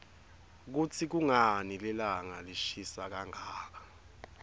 kutsi kunqani lilanqa lishisa kanqaka